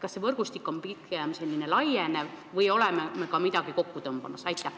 Kas see võrgustik on pigem laienev või me oleme midagi kokku tõmbamas?